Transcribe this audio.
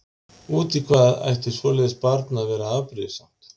Út í hvað ætti svoleiðis barn að vera afbrýðisamt?